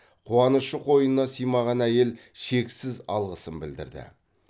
қуанышы қойнына сыймаған әйел шексіз алғысын білдірді